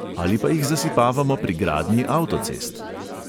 Ali pa jih zasipavamo pri gradnji avtocest!